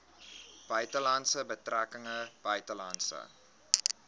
buitelandse betrekkinge buitelandse